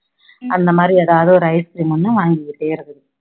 அந்த மாதிரி எதாவது ஒரு ice cream ஒண்ணு வாங்கிக்கிட்டே இருக்குது